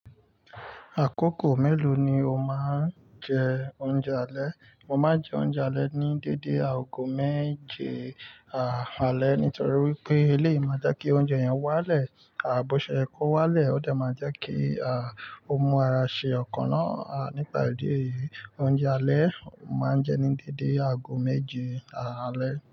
Àkókò mélòó ni o máa ń jẹ oúnjẹ alẹ́? Mo máa ń jẹ oúnjẹ alẹ́ ní dédé aago méje, àálẹ́ nítorí wípé elé lo máa jẹ́ kí oúnjẹ yẹn wálẹ̀. À bó ṣe é kó wálẹ̀, ó dà máa jẹ́ kí, à, ọmú ara ṣe ọkànná. À nípa ìdí èyí, oúnjẹ alẹ́ máa ń jẹ ní dédé aago méje, àálẹ́.